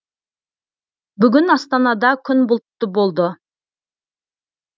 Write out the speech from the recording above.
бүгін астанада күн бұлтты болды